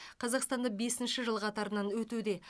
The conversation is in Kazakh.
қазақстанда бесінші жыл қатарынан өтуде